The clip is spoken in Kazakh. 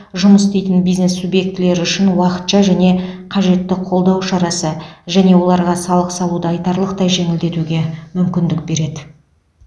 жұмыс істейтін бизнес субъектілері үшін уақытша және қажетті қолдау шарасы және оларға салық салуды айтарлықтай жеңілдетуге мүмкіндік береді